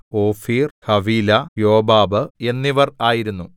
ഓഫീർ Havilah Jobab എന്നിവർ ആയിരുന്നു